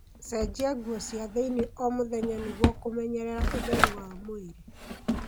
Cenjia nguo cia thĩini o mũthenya nĩguo kũmenyerera ũtheru wa mwĩrĩ.